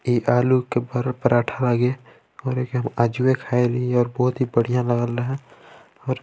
इ आलू के परो-पराठा लागे आज हुवे खाइल ली और बहुत ही बढ़िया लागल है और --